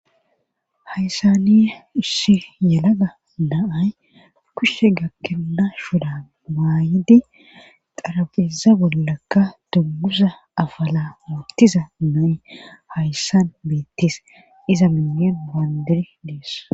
hayssani issi yalaga da7ay kushshe gakkenna shuda maayidi qarabiza bollakka dugguza afala muuttiza nae hayssan beettis iza minyen banderi dees